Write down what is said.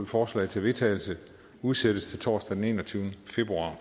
forslag til vedtagelse udsættes til torsdag den enogtyvende februar